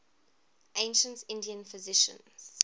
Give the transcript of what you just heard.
ancient indian physicians